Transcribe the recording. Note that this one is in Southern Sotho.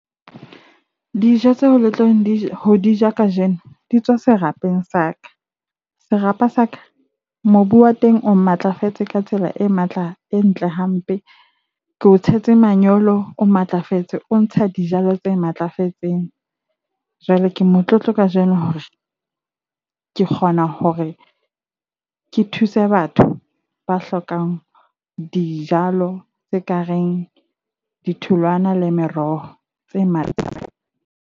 Dijo tseo le tlo ho di ja kajeno di tswa serapeng sa ka. Serapa sa ka mobu wa teng, o matlafetse ka tsela e matla, e ntle hampe. Ke o tshetse manyolo o matlafetse, o ntsha dijalo tse matlafetseng. Jwale ke motlotlo kajeno hore ke kgona hore ke thuse batho ba hlokang dijalo tse kareng ditholwana le meroho tse